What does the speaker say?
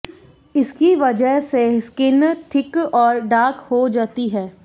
इसकी वजह से स्किन थिक और डार्क हो जाती है